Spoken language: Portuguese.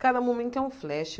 Cada momento é um flash.